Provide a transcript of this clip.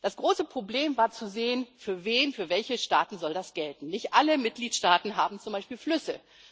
Das große Problem war zu sehen, für wen, für welche Staaten das gelten soll. Nicht alle Mitgliedstaaten haben zum Beispiel Flüsse.